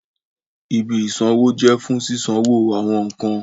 Ìbí isanwo jẹ fún sisanwo awọn nkán